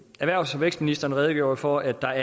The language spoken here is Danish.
erhvervs og vækstministeren redegjorde for at der